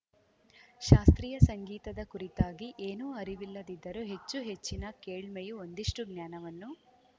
ಶಾಸ್ತ್ರೀಯ ಸಂಗೀತದ ಕುರಿತಾಗಿ ಏನೂ ಅರಿವಿಲ್ಲದಿದ್ದರೂ ಹೆಚ್ಚು ಹೆಚ್ಚಿನ ಕೇಳ್ಮೆಯು ಒಂದಿಷ್ಟುಜ್ಞಾನವನ್ನು